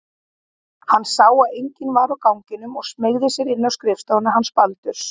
Hann sá að enginn var á ganginum og smeygði sér inn á skrifstofuna hans Baldurs.